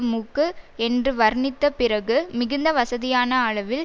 மூக்கு என்று வர்ணித்த பிறகு மிகுந்த வசதியான அளவில்